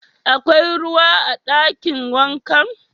Akwai ruwa a dakin wankan?